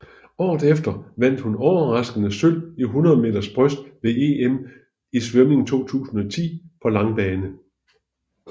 Året efter vandt hun overraskende sølv i 100 meter bryst ved EM i svømning 2010 på langbane